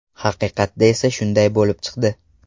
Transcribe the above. Haqiqatda esa shunday bo‘lib chiqdi.